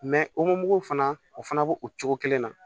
omugu fana o fana b'o cogo kelen na